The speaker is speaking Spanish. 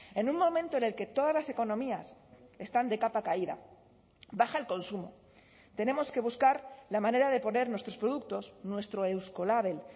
en un momento en el que todas las economías están de capa caída baja el consumo tenemos que buscar la manera de poner nuestros productos nuestro eusko label